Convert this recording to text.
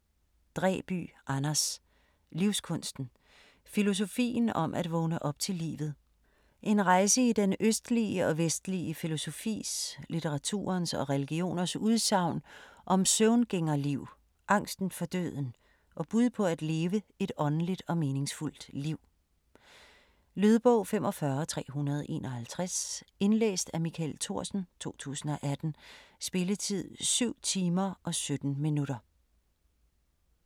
Dræby, Anders: Livskunsten: filosofien om at vågne op til livet En rejse i den østlige og vestlige filosofis, litteraturens og religioners udsagn om søvngængerliv, angsten for døden, og bud på at leve et åndeligt og meningsfuldt liv. Lydbog 45351 Indlæst af Michael Thorsen, 2018. Spilletid: 7 timer, 17 minutter.